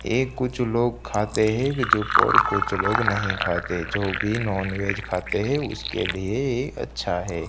ये कुछ लोग खाते हैं जो और कुछ लोग नहीं खाते जो भी नॉनवेज खाते हैं उसके लिए ये अच्छा है।